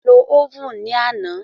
A lo óvùn ní àná.